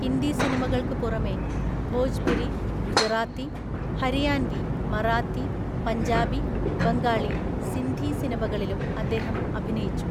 ഹിന്ദി സിനിമകൾക്ക് പുറമേ, ഭോജ്പുരി, ഗുജറാത്തി, ഹരിയാൻവി, മറാത്തി, പഞ്ചാബി, ബംഗാളി, സിന്ധി സിനിമകളിലും അദ്ദേഹം അഭിനയിച്ചു.